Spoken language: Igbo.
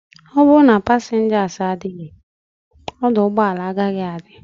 Oburu na passengers adighi, oduugboala agaghi adi